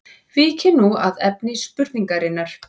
Víkjum nú að efni spurningarinnar.